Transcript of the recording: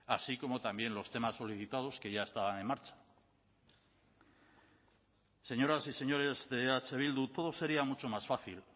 así como también los temas solicitados que ya estaban en marcha señoras y señores de eh bildu todo sería mucho más fácil